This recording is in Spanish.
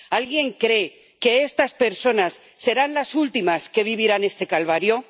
¿Alguien cree que estas personas serán las últimas que vivirán este calvario?